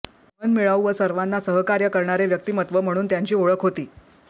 मनमिळावू व सर्वांना सहकार्य करणारे व्यक्तिमत्व म्हणून त्यांची ओळख होती